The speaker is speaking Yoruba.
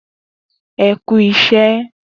E ku isẹ